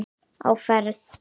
Á ferð